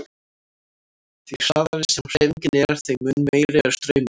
Því hraðari sem hreyfingin er þeim mun meiri er straumurinn.